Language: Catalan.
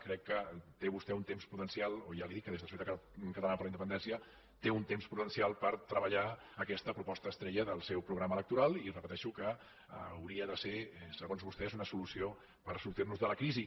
crec que té vostè un temps prudencial ja li dic que des de solidaritat catalana per la independència té un temps prudencial per treballar aquesta proposta estrella del seu programa electoral i repeteixo que hauria de ser segons vostè una solució per sortir nos de la crisi